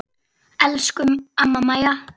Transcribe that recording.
Elsku amma Maja.